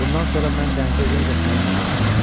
Bundan sonra mən dənizə yenə də səninlə gedəcəm.